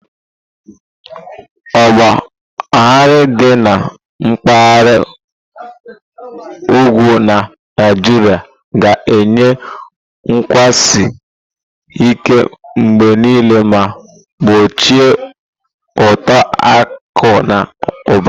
Ọgba aghara dị na mpaghara ugwu na Naijiria ga-eyi nkwụsi ike mgbe niile ma gbochie uto akụ na ụba.